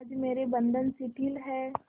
आज मेरे बंधन शिथिल हैं